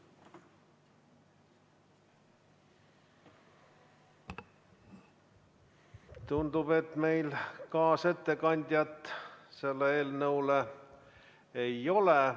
Tundub, et meil kaasettekandjat selle eelnõu puhul ei ole.